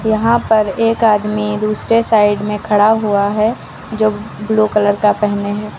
यहां पर एक आदमी दूसरे साइड में खड़ा हुआ है जो ब्लू कलर का पेहने हैं।